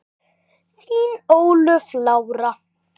Þín Ólöf Lára.